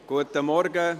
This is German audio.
Guten Morgen.